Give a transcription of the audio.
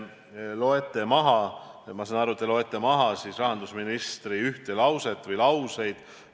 Ma saan aru, et te loete siin ette rahandusministri ühte lauset või lauseid.